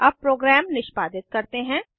अब प्रोग्राम निष्पादित करते हैं